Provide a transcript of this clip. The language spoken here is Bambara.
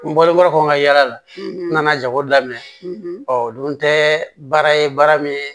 N bɔlenkɔrɔ kɔ n ka yala la n nana jago daminɛ ɔ o dun tɛ baara ye baara min ye